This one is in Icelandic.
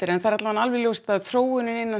en það er alveg ljóst að þróunin innan